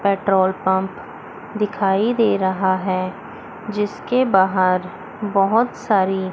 petrol pump दिखाई दे रहा है जिसके बाहर बहुत सारी --